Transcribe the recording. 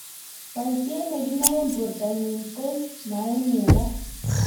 Boisiet ne kinoe borto nyin ka maimukaka